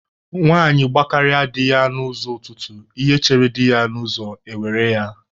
Nwaanyi gbakarịa di ya n'ụzọ ụtụtụ, ihe chere di ya n'ụzọ e were ya.